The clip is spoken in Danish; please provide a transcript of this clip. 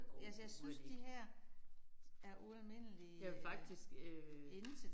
Overhovedet ikke. Jeg vil faktisk øh